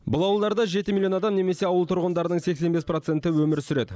бұл ауылдарда жеті миллион адам немесе ауыл тұрғындарының сексен бес проценті өмір сүреді